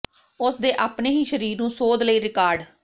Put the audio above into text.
ਉਸ ਦੇ ਆਪਣੇ ਹੀ ਸਰੀਰ ਨੂੰ ਸੋਧ ਲਈ ਰਿਕਾਰਡ